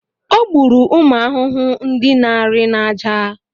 O gburu ụmụ ahụhụ ndị na-arị n’aja.